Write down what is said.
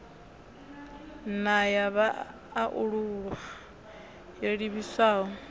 na ya vhaalulwa yo livhiswaho